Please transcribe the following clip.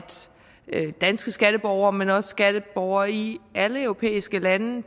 danske skatteborgere men også skatteborgere i alle europæiske lande